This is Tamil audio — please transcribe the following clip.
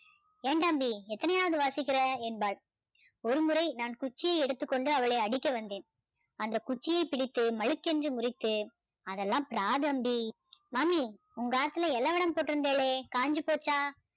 ஏண்டாம்பி எத்தனையாவது வாசிக்கிற என்பாள் ஒருமுறை நான் குச்சியை எடுத்துக்கொண்டு அவளை அடிக்க வந்தேன் அந்த குச்சியை பிடித்து மளுக் என்று முறித்து அதெல்லாம் பிராதம்டி மாமி உங்க ஆத்துல வடம் போட்டிருந்தேளே காஞ்சி போச்சா